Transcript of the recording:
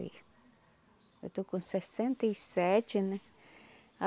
Eu estou com sessenta e sete, né?